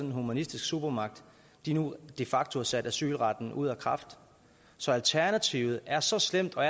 en humanistisk supermagt nu de facto har sat asylretten ud af kraft så alternativet er så slemt og